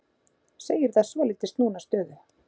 Segir það svolítið snúna stöðu